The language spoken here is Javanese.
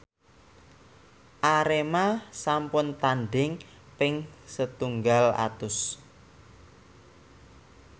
Arema sampun tandhing ping setunggal atus